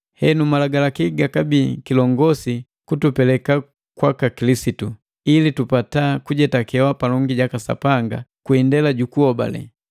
Henu Malagalaki gakabii kilongosi kutupeleka kwaka Kilisitu, ili tupata kujetakewa palongi jaka Sapanga kwi indela jukuhobale.